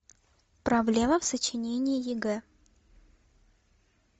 проблема в сочинении егэ